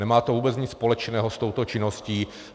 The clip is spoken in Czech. Nemá to vůbec nic společného s touto činností.